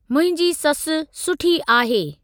मुंहिंजी ससु सुठी आहे।